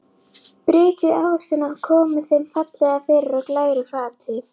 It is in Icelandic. Brytjið ávextina og komið þeim fallega fyrir á glæru fati.